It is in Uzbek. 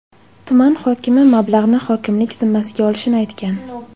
Tuman hokimi mablag‘ni hokimlik zimmasiga olishini aytgan.